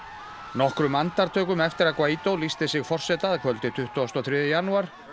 nokkrum andartökum eftir að lýsti sig forseta að kvöldi tuttugasta og þriðja janúar